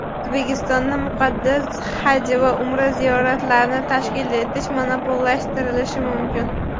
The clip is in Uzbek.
O‘zbekistonda muqaddas "Haj" va "Umra" ziyoratlarini tashkil etish monopollashtirilishi mumkin.